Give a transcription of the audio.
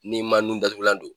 N'i ma nun datugulan don